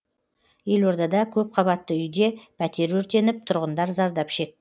елордада көпқабатты үйде пәтер өртеніп тұрғындар зардап шекті